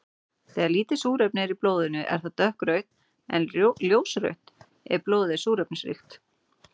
Þegar lítið súrefni er í blóðinu er það dökkrautt en ljósrautt ef blóðið er súrefnisríkt.